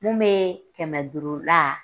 Mun be kɛmɛ duuru la